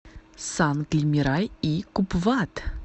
сангли мирай и купвад